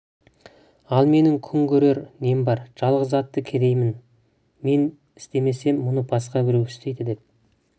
ал менің күн көрер нем бар жалғыз атты кедеймін мен істемесем мұны басқа біреу істейді деп